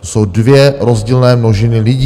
To jsou dvě rozdílné množiny lidí.